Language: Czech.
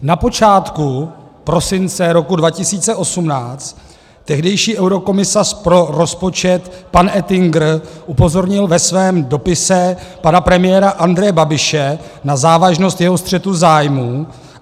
Na počátku prosince roku 2018 tehdejší eurokomisař pro rozpočet pan Oettinger upozornil ve svém dopise pana premiéra Andreje Babiše na závažnost jeho střetu zájmů.